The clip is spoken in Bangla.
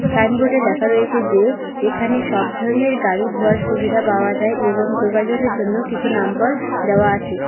সাইনবোর্ডে লেখা রয়েছে যে এখানে সব ধরনের গাড়ি ধোয়ার সুবিধা পাওয়া যায় এবং যোগাযোগের জন্য কিছু নাম্বার দেওয়া আছে।